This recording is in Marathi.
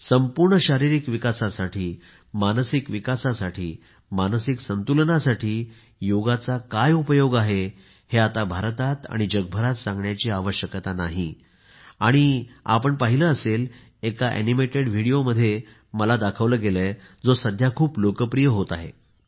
संपूर्ण शारीरिक विकासासाठी मानसिक विकासासाठी मानसिक संतुलनासाठी योगचा काय उपयोग आहे आता भारतात आणि जगभरात सांगण्याची आवश्यकता नाही आणि आपण पाहिले असेल की मला एक अॅनिमेटेड व्हिडिओ दाखविला गेला आहे जो सध्या खूप लोकप्रिय होत आहे